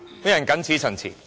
我謹此陳辭。